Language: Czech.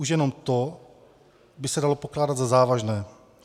Už jenom to by se dalo pokládat za závažné.